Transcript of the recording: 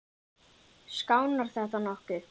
Skánar þetta nokkuð?